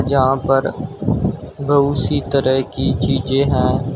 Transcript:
जहां पर बहुत सी तरह की चीजें हैं।